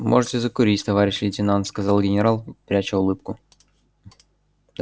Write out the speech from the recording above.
можете закурить товарищ лейтенант сказал генерал пряча улыбку